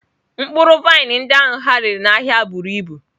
Mkpụrụ vaịn ndị ahụ ha rere n'ahịa buru ibu.